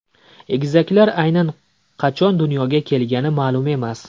Egizaklar aynan qachon dunyoga kelgani ma’lum emas.